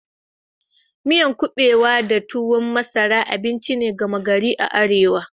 Miyan kubewa da tuwon masara abinci ne gama gari a Arewa.